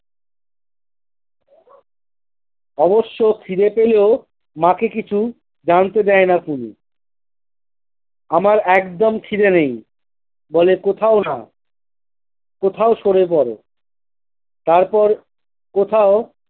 অবশ্য খিদে পেলেও মাকে কিছু জানতে দেয়না পুলু আমার একদম খিদে নেই বলে কোথাও না কোথাও সড়ে পরে তারপর কোথাও।